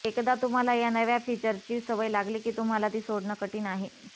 एकदा तुम्हाला या नव्या फीचरची सवय लागली की तुम्हाला ती सोडणं कठीण आहे